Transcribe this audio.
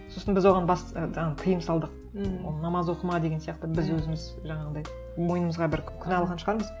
сосын біз оған тыйым салдық намаз оқыма деген сияқты біз өзіміз жаңағындай мойнымызға бір күнә алған шығармыз